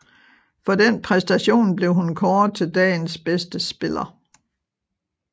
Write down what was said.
For den præstation blev hun kåret til dagens bedste spiller